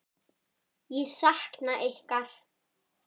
Ég sakna ykkar.